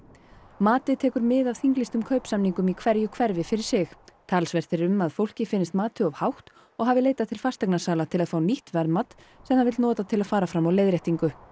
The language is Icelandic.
matið tekur mið af þinglýstum kaupsamningum í hverju hverfi fyrir sig talsvert er um að fólki finnist matið of hátt og hafi leitað til fasteignasala til að fá nýtt verðmat sem það vill nota til að fara fram á leiðréttingu